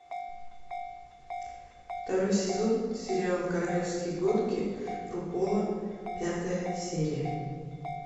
второй сезон сериал королевские гонки рупола пятая серия